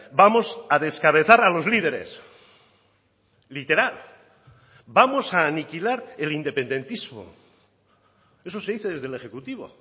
vamos a descabezar a los líderes literal vamos a aniquilar el independentismo eso se dice desde el ejecutivo